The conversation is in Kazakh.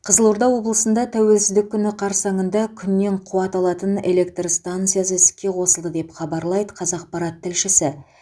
қызылорда облысында тәуелсіздік күні қарсаңында күннен қуат алатын электр станциясы іске қосылды деп хабарлайды қазақпарат тілшісі